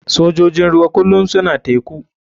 Sojojin ruwa kulum suna teku.